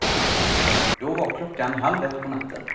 Då var klockan halv ett på natten.